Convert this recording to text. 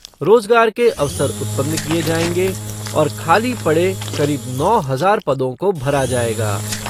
रोजगार के अवसर उत्पन्न किए जाएंगे और खाली पड़े करीब नौ हजार पदों को भरा जाएगा।